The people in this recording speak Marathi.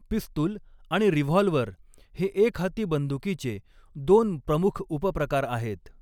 पिस्तूल आणि रिव्हॉल्व्हर हे एकहाती बंदुकीचे दोन प्रमुख उपप्रकार आहेत.